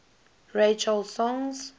ray charles songs